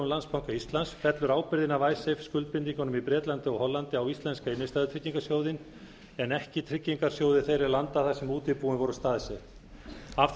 landsbanka íslands fellur ábyrgðin af skuldbindingunum í bretlandi og hollandi á íslenska innstæðutryggingarsjóðinn en ekki tryggingarsjóði þeirra landa þar sem útibúin voru staðsett af